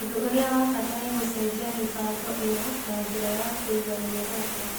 Ũndũ ũrĩa wa bata nĩ gũcenjia mĩbango ĩyo na njĩra ya kũiga mĩoroto.